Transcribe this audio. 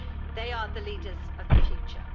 They are the leaders of the future.